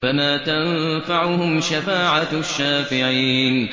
فَمَا تَنفَعُهُمْ شَفَاعَةُ الشَّافِعِينَ